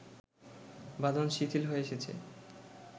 বাঁধন শিথিল হয়ে এসেছে